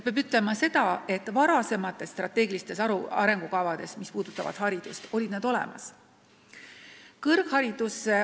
Varasemates haridust puudutanud strateegilistes arengukavades oli see olemas.